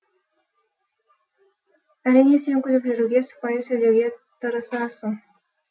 әрине сен күліп жүруге сыпайы сөйлеуге тырысасың